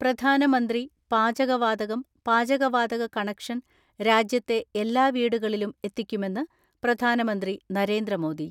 പ്രധാനമന്ത്രി, പാചകവാതകം, പാചകവാതക കണക്ഷൻ രാജ്യത്തെ എല്ലാ വീടുകളിലും എത്തിക്കുമെന്ന് പ്രധാനമന്ത്രി നരേന്ദ്രമോദി.